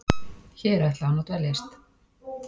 Hér ætlaði hún að dveljast.